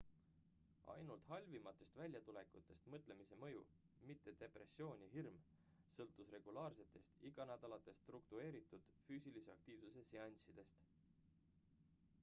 ainult halvimatest väljatulekutest mõtlemise mõju mitte depressioon ja hirm sõltus regulaarsetest iganädalastest struktureeritud füüsilise aktiivsuse seanssidest